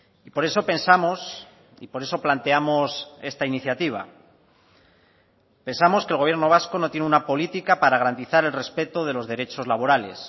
y por eso pensamos y por eso planteamos esta iniciativa pensamos que el gobierno vasco no tiene una política para garantizar el respeto de los derechos laborales